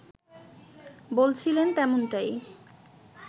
বলছিলেন তেমনটাই